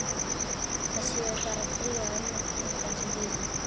Það séu bara þrír á undan sem bíði.